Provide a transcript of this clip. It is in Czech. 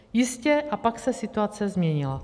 Jistě, a pak se situace změnila.